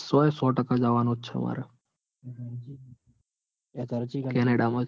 સો એ સો ટાકા જવાનું જ છે મારે. હમ કેનેડા માં જ